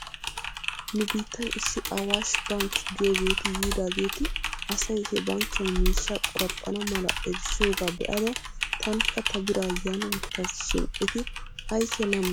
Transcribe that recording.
Nu biittan issi awash bank giyoogeeti yiidaageeti asay he bankkiyan miishshaa qoraphphana mala erissiyoogaa be'ada tankka ta biraa yan wottas shin eti aykeena ammanttiyoonaa?